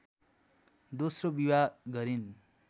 दोस्रो विवाह गरिन्